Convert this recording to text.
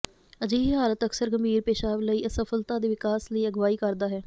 ਅਜਿਹੀ ਹਾਲਤ ਅਕਸਰ ਗੰਭੀਰ ਪੇਸ਼ਾਬ ਲਈ ਅਸਫਲਤਾ ਦੇ ਵਿਕਾਸ ਲਈ ਅਗਵਾਈ ਕਰਦਾ ਹੈ